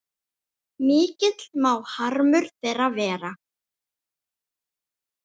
Mikill má harmur þeirra vera.